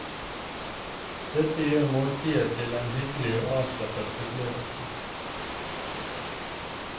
Dette gjør måltidet til en hyggelig og avslappet opplevelse.